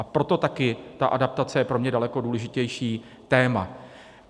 A proto taky ta adaptace je pro mě daleko důležitější téma.